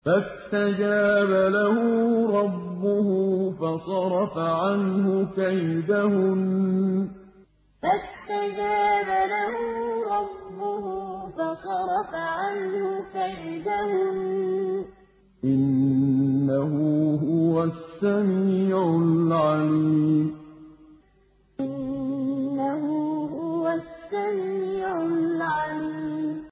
فَاسْتَجَابَ لَهُ رَبُّهُ فَصَرَفَ عَنْهُ كَيْدَهُنَّ ۚ إِنَّهُ هُوَ السَّمِيعُ الْعَلِيمُ فَاسْتَجَابَ لَهُ رَبُّهُ فَصَرَفَ عَنْهُ كَيْدَهُنَّ ۚ إِنَّهُ هُوَ السَّمِيعُ الْعَلِيمُ